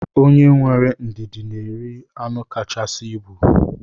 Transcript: Onye were ndidi na eri anụ kachasị ibu.